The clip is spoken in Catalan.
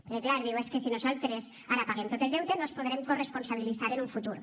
perquè clar diu és que si nosaltres ara paguem tot el deute no ens en podrem corresponsabilitzar en un futur